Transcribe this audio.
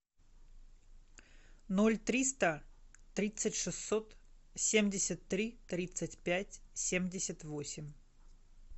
ноль триста тридцать шестьсот семьдесят три тридцать пять семьдесят восемь